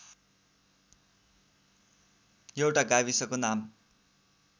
एउटा गाविसको नाम